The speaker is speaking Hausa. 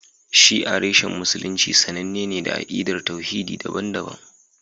Shi'a reshen Musulunci sananne ne da akidar tauhidi daban-daban